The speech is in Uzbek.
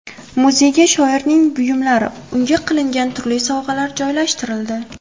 Muzeyga shoirning buyumlari, unga qilingan turli sovg‘alar joylashtirildi.